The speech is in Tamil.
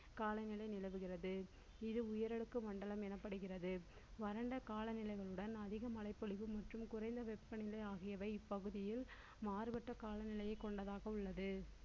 காலநிலை நிலவுகிறது இது உயர் அடுக்கு மண்டலம் எனப்படுகிறது வறண்ட கால நிலைகளுடன் அதிக மழைப்பொழிவு மற்றும் குறைந்த வெப்பநிலை ஆகியவை இப்பகுதியில் மாறுபட்ட காலநிலையை கொண்டதாக உள்ளது